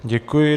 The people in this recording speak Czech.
Děkuji.